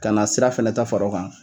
Ka na sira fɛnɛ ta far'o kan